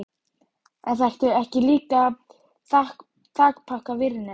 En þarftu ekki líka þakpappa og vírnet?